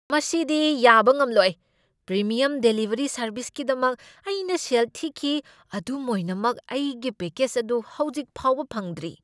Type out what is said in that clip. ꯃꯁꯤꯗꯤ ꯌꯥꯕ ꯉꯝꯂꯣꯏ! ꯄ꯭ꯔꯤꯃꯤꯌꯝ ꯗꯤꯂꯤꯚꯔꯤ ꯁꯔꯕꯤꯁꯀꯤꯗꯃꯛ ꯑꯩꯅ ꯁꯦꯜ ꯊꯤꯈꯤ, ꯑꯗꯨꯝ ꯑꯣꯏꯅꯃꯛ ꯑꯩꯒꯤ ꯄꯦꯛꯀꯦꯖ ꯑꯗꯨ ꯍꯧꯖꯤꯛ ꯐꯥꯎꯕ ꯐꯪꯗ꯭ꯔꯤ!